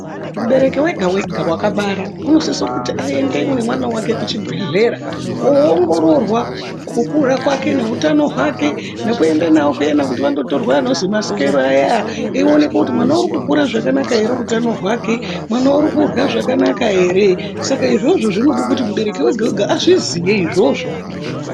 Mubereki wega-wega wakabara unosise kuti aende nemwana wake kuchibhedhlera koongororwa kukura kwake neutano hwake. Nekuenda navo kuyani vandotorwa anozi masikero ayaa, eionekwe kuti mwana uri kukura zvakanaka ere utano hwake, mwana uri kurya zvakanaka ere. Saka izvozvo zvinoda kuti mubereki ega -ega azviziye izvozvo.